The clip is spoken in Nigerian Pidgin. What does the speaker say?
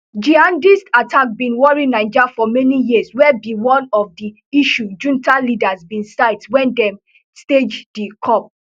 jihadist attacks bin worry niger for many years wey be one of di issues junta leaders bin cite wen dem stage di coup